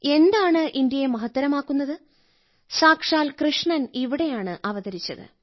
എന്താണ് ഇന്ത്യയെ മഹത്തരമാക്കുന്നത് സാക്ഷാൽ കൃഷ്ണൻ ഇവിടെയാണ് അവതരിച്ചത്